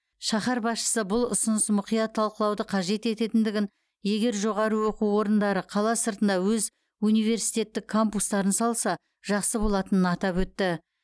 шаһар басшысы бұл ұсыныс мұқият талқылауды қажет ететіндігін егер жоғары оқу орындары қала сыртында өз университеттік кампустарын салса жақсы болатынын атап өтті